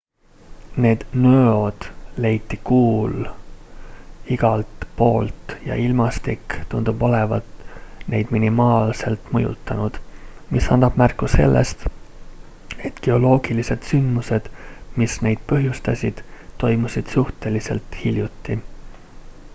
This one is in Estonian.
need nõod leiti kuul igalt poolt ja ilmastik tundub olevat neid minimaalselt mõjutanud mis annab märku sellest et geoloogilised sündmused mis neid põhjustasid toimusid suhteliselt hiljuti